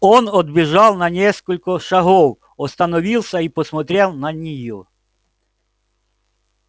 он отбежал на несколько шагов остановился и посмотрел на неё